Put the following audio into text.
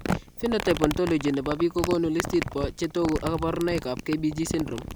Phenotype ontology nbo biik kokoonu listini bo chetogu ak kaborunoik ab KBG syndrome